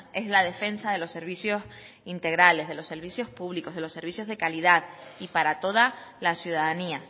es la defensa de los servicios integrales de los servicios públicos de los servicios de calidad y para toda la ciudadanía